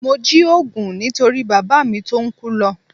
Mo jí òògùn nítorí bàbá mi tó ń kú lọ